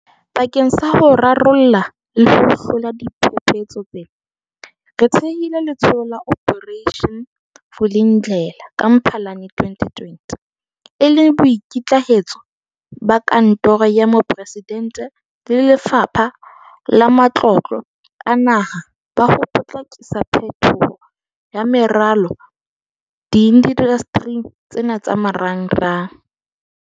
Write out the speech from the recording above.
Bakeng sa ho rarolla le ho hlola diphephetso tsena, re thehile Letsholo la Operation Vulindlela ka Mphalane 2020 e le boikitlahetso ba Kantoro ya Moporesidente le Lefapha la Matlotlo a Naha ba ho potlakisa phetoho ya meralo diindastering tsena tsa marangrang.